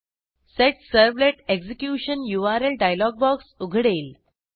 set servlet execution URL dialog box उघडेल